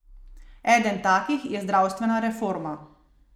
Eden takih je zdravstvena reforma.